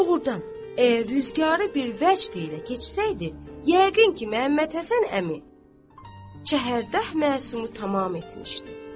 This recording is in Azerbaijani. Doğurdan, əgər rüzgarı bir vəcd ilə keçsəydi, yəqin ki, Məhəmməd Həsən əmi şəhərdəh məsumu tamam etmişdi.